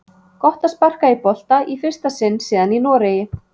Gott að sparka í bolta í fyrsta sinn síðan í Noregi!